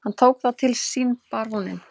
Hann tók það til sínBaróninn